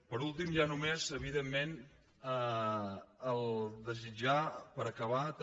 per últim ja només evidentment desitjar per acabar també